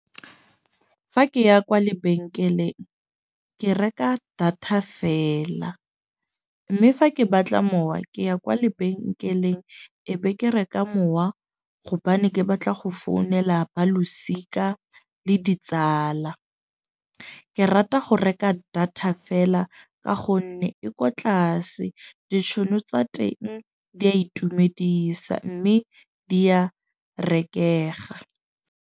Fa ke ya kwa lebenkeleng ke reka data fela. Mme fa ke batla mowa ke ya kwa lebenkeleng ebe ke reka mowa, gobane ke batla go founela ba losika le ditsala. Ke rata go reka data fela. Ka gonne e ko tlase ditšhono tsa teng di a itumedisa. Mme di a rekega.